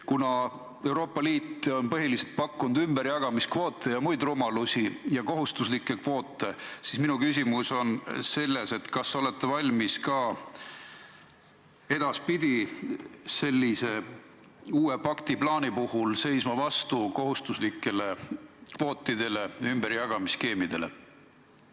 Kuna Euroopa Liit on põhiliselt pakkunud kohustuslikke ümberjagamiskvoote ja muid rumalusi, ma küsingi: kas olete valmis ka uue pakti puhul vastu seisma kohustuslikele ümberjagamiskvootidele?